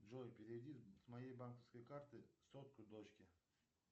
джой переведи с моей банковской карты сотку дочке